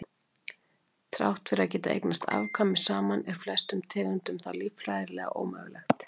Þrátt fyrir að geta eignast afkvæmi saman er flestum tegundum það líffræðilega ómögulegt.